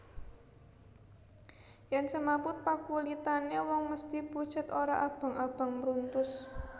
Yen semaput pakulitane wong mesthi pucet ora abang abang mruntus